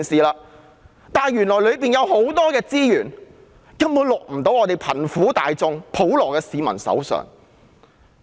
可是，當中有很多資源根本未能令貧苦大眾和普羅市民受惠。